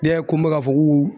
Ne y'a ko bɛ k'a fɔ ku ku